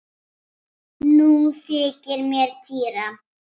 Nú þykir mér týra!